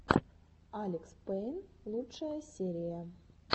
алекспэйн лучшая серия